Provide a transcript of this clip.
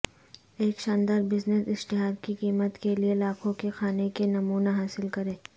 ایک شاندار بزنس اشتہار کی قیمت کے لئے لاکھوں کے کھانے کے نمونہ حاصل کریں